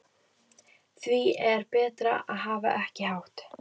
Því er betra að hafa ekki hátt.